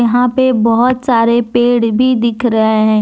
यहां पे बहुत सारे पेड़ भी दिख रहे हैं।